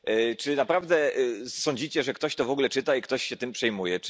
Czy naprawdę sądzicie, że ktoś to w ogóle czyta i ktoś się tym przejmuje?